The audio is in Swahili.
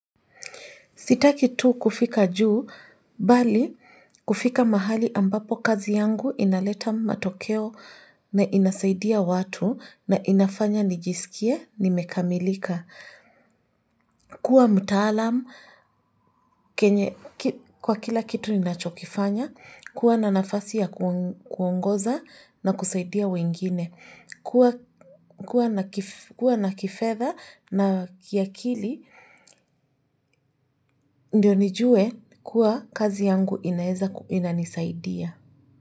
Sitaki tu kufika juu, bali kufika mahali ambapo kazi yangu inaleta matokeo na inasaidia watu na inafanya nijisikie nimekamilika. Kwa mtaalam kwa kila kitu ninachokifanya, kuwa na nafasi ya kuongoza na kusaidia wengine, kuwa na kifedha na kiakili ndio nijue kuwa kazi yangu ina nisaidia.